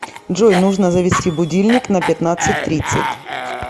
джой нужно завести будильник на пятнадцать тридцать